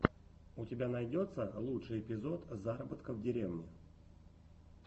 у тебя найдется лучший эпизод заработка в деревне